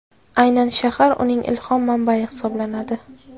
Aynan shahr uning ilhom manbai hisoblanadi.